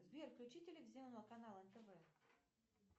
сбер включи телевизионный канал нтв